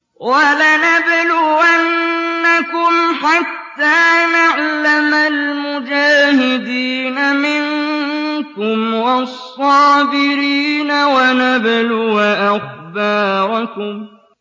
وَلَنَبْلُوَنَّكُمْ حَتَّىٰ نَعْلَمَ الْمُجَاهِدِينَ مِنكُمْ وَالصَّابِرِينَ وَنَبْلُوَ أَخْبَارَكُمْ